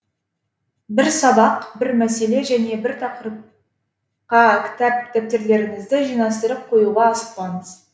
бір сабақ бір мәселе және бір тақырыпқа кітап дәптерлеріңізді жинастырып қоюға асықпаңыз